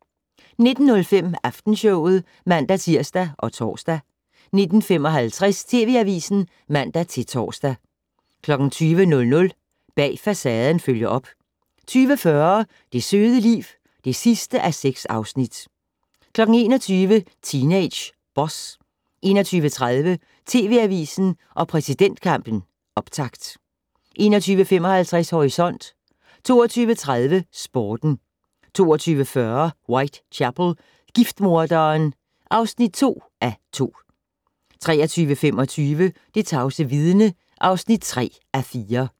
19:05: Aftenshowet (man-tir og tor) 19:55: TV Avisen (man-tor) 20:00: Bag Facaden følger op 20:40: Det søde liv (6:6) 21:00: Teenage Boss 21:30: TV Avisen og præsidentkampen - optakt 21:55: Horisont 22:30: Sporten 22:40: Whitechapel: Giftmorderen (2:2) 23:25: Det tavse vidne (3:4)